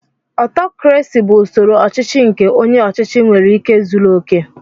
Ọtọkrasị bụ usoro ọchịchị nke onye ọchịchị nwere ike zuru okè.